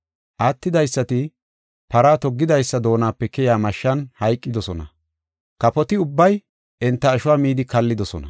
Attidaysati para toggidaysa doonape keyiya mashshan hayqidosona. Kafoti ubbay enta ashuwa midi kallidosona.